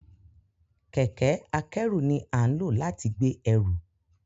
Kẹkẹ-akẹru ni a nlo lati gbe ẹru.